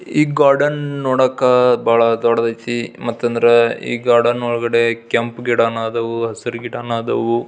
ಈ ಗಾರ್ಡನ್ ನೋಡಾಕ ಬಹಳ ದೊಡ್ಡದಾಯಿತೀ ಮತ್ತೆ ಈ ಗಾರ್ಡನ್ ಒಳಗಡೆ ಕೆಂಪ್ ಗಿಡನು ಆದವು ಹಸೀರ್ ಗಿಡನು ಆದವು.